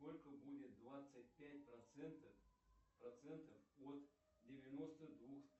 сколько будет двадцать пять процентов от девяносто двух